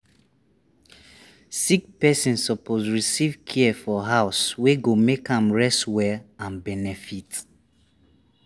sick person suppose receive care for house wey go make am rest well and benefit.